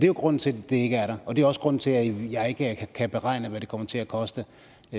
jo grunden til at det ikke er der det er også grunden til at jeg ikke kan beregne hvad det kommer til at koste